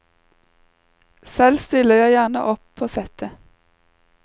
Selv stiller jeg gjerne opp på settet.